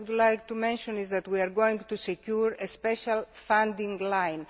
I also would like to mention that we are going to secure a special funding line.